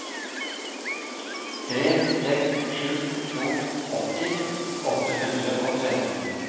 tre seks sju to åtti åtte hundre og tretten